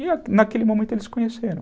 E naquele momento eles se conheceram.